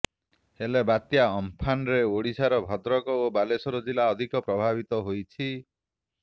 ହେଲେ ବାତ୍ୟା ଅମ୍ଫାନରେ ଓଡିଶାରେ ଭଦ୍ରକ ଓ ବାଲେଶ୍ବର ଜିଲ୍ଲା ଅଧିକ ପ୍ରଭାବିତ ହୋଇଛି